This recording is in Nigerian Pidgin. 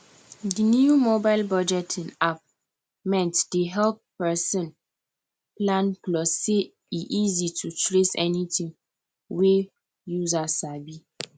di new mobile budgeting app mint dey help person plan plus say e easy to trace anything wey user sabi